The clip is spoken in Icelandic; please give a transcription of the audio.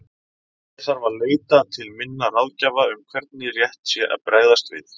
Ég þarf að leita til minna ráðgjafa um hvernig rétt sé að bregðast við.